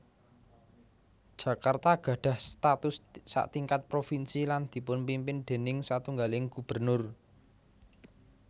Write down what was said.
Jakarta gadhah status satingkat provinsi lan dipunpimpin déning satunggaling gubernur